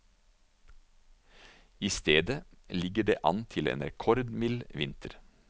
I stedet ligger det an til en rekordmild vinter.